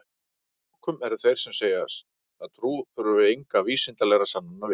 að lokum eru þeir sem segja að trú þurfi engra vísindalegra sannana við